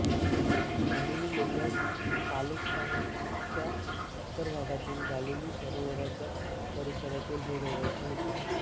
गालीली लोक पालेस्ताईनच्या उत्तर भागातील गालील सरोवराच्या परिसरातील हे रहिवासी होते